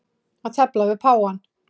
Að tefla við páfann